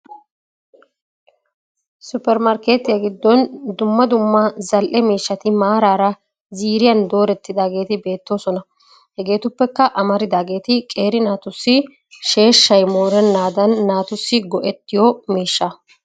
Supper markketiya giddon dummaa dummaa zal7e mishshati mararaa ziiriyan doretidageeti beettosona hegeetuppekka amaridageti qeeri naatusi sheeshshay morennadan natusi go7etiyo mishshaa